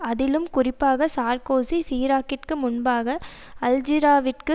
அதிலும் குறிப்பாக சார்கோசி சீராக்கிற்கு முன்பாக அல்ஜிராவிற்கு